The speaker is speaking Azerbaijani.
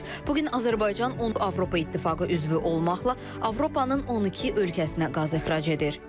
Bu gün Azərbaycan Avropa İttifaqı üzvü olmaqla Avropanın 12 ölkəsinə qaz ixrac edir.